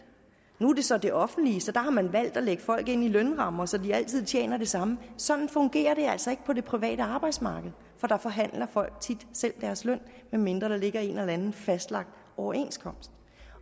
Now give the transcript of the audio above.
nu er det så det offentlige og der har man valgt at lægge folk ind i lønrammer så de altid tjener det samme sådan fungerer det altså ikke på det private arbejdsmarked for der forhandler folk tit selv deres løn medmindre der ligger en eller anden fastlagt overenskomst